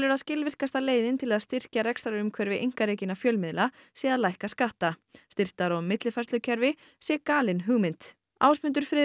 að skilvirkasta leiðin til að styrkja rekstrarumhverfi einkarekinna fjölmiðla sé að lækka skatta styrktar og millifærslukerfi sé galin hugmynd Ásmundur